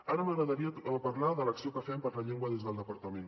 ara m’agradaria parlar de l’acció que fem per la llengua des del departament